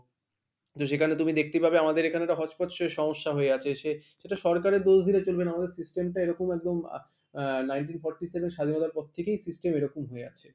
তো সেখানে তুমি দেখতে পাবে আমাদের এখানে একটা hotchpotch এর সমস্যা হয়ে আছে সে সেটা সরকারের দোষ দিলে চলবে না আমাদের system টা এরকম একদম আহ আহ nineteen forty seven স্বাধীনতার পর থেকেই system এরকম হয়ে আছে।